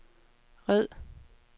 red